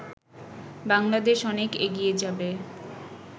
বাংলাদেশ অনেক এগিয়ে যাবে